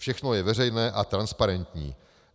Všechno je veřejné a transparentní.